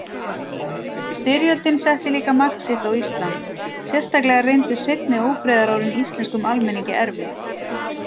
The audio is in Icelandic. Styrjöldin setti líka mark sitt á Ísland, sérstaklega reyndust seinni ófriðarárin íslenskum almenningi erfið.